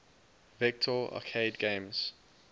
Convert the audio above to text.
vector arcade games